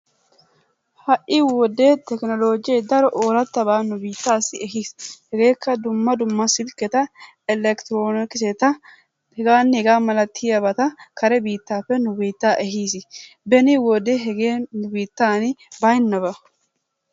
Hai wode tekiloojee daro ooratabaa nu biittaassi ehiis. Hegeetikka dumma dumma silketta, electronikisetta hegaanne hegaa malattiyaabata kare biittappee nu biittaa ehiis. Beni wode hegee nu bittaan baynabaa.